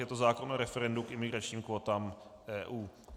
Je to zákon o referendu k imigračním kvótám EU.